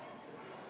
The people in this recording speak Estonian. Austatud Riigikogu!